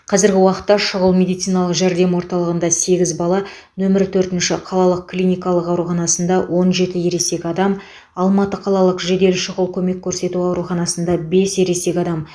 қазіргі уақытта шұғыл медициналық жәрдем орталығында сегіз бала нөмір төртінші қалалық клиникалық ауруханасында он жеті ересек адам алматы қалалық жедел шұғыл көмек көрсету ауруханасында бес ересек адам